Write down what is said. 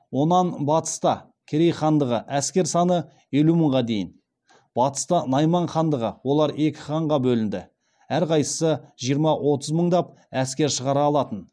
онан батыста керей хандығы әскер саны елу мыңға дейін батыста найман хандығы олар екі ханға бөлінді әр қайсысы жиырма отыз мыңдап әскер шығара алатын